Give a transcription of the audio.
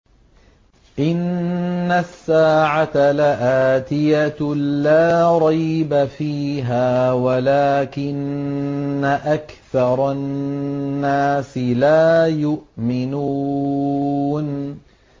إِنَّ السَّاعَةَ لَآتِيَةٌ لَّا رَيْبَ فِيهَا وَلَٰكِنَّ أَكْثَرَ النَّاسِ لَا يُؤْمِنُونَ